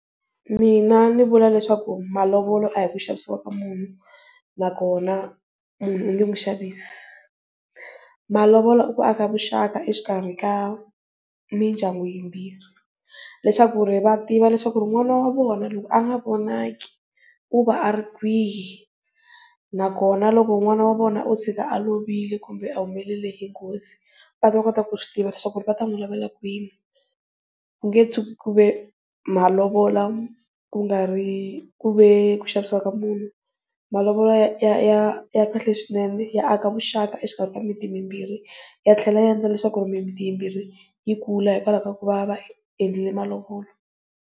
Mina ndzi vula leswaku malovola a hi ku xavisiwa ka munhu na kona munhu u nge n'wi xavisi, malovola i ku aka vuxaka exikarhi ka mindyangu yimbirhi leswaku ri va tiva leswaku n'wana wa vona loko a nga vonaki u va a ri kwihi. Na kona loko n'wana wa vona o tshika a lovile kumbe a humelele hi nghozi va ta kota ku swi tiva leswaku va ta n'wi lavele kwihi, ku nge tshuki ku ve malovola ku nga ri kuve ku xavisiwa ka munhu malovola ya ya ya kahle swinene ya aka vuxaka exikarhi ka miti mimbirhi ya tlhela a endla leswaku mimiti yimbirhi yi kula hikwalaho ka ku va va endlile malovola.